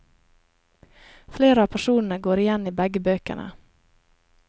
Flere av personene går igjen i begge bøkene.